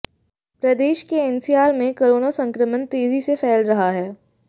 प्रदेश के एनसीआर में कोरोना संक्रमण तेजी से फैल रहा है